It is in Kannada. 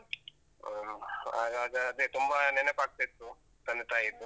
ಅಹ್ ಅದ್ ಅದ್ ಅದೇ ತುಂಬಾ ನೆನಪಾಗ್ತಿತ್ತು, ತಂದೆ ತಾಯಿದ್ದು.